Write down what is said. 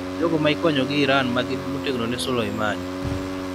jogo ma ikonyo gi Iran ma gin motegno ne Soleimani.